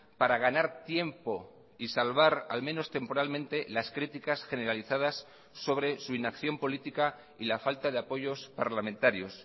para ganar tiempo y salvar al menos temporalmente las criticas generalizadas sobre su inacción política y la falta de apoyos parlamentarios